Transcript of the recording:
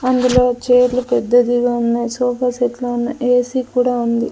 అందులో చైర్లు పెద్దదిగా ఉన్నాయి సోఫా సెట్లు ఉన్నాయి ఏ_సీ కూడా ఉంది.